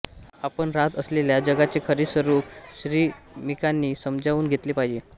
आपण राहत असलेल्या जगाचे खरे स्वरूप श्रमिकांनी समजावून घेतले पाहिजे